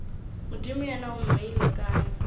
modimo yena o mmeile kae